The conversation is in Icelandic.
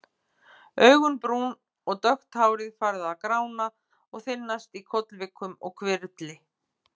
Augun brún og dökkt hárið farið að grána og þynnast í kollvikum og hvirfli.